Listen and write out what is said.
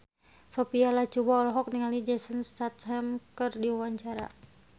Sophia Latjuba olohok ningali Jason Statham keur diwawancara